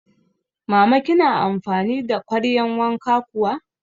Mama kina amfani da kwaryan wanka kuwa?